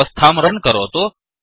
व्यवस्थां Runरन्करोतु